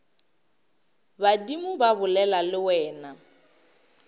badimo ba bolela le wena